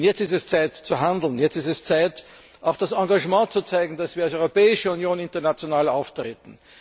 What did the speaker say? Denn jetzt ist es Zeit zu handeln, jetzt ist es Zeit, auch das Engagement zu zeigen, dass wir als Europäische Union international auftreten.